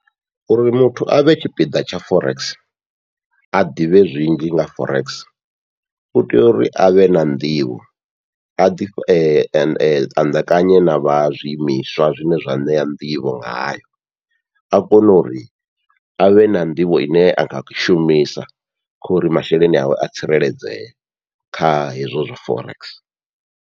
Uri muthu avhe tshipiḓa tsha forex a ḓivhe zwinzhi nga forex, u tea uri avhe na nḓivho a ḓi fhandekanya na vha zwiimiswa zwa zwine zwa ṋea nḓivho ngayo, a kone uri avhe na nḓivho ine anga shumisa khori masheleni awe a tsireledzee kha hezwo zwa forex.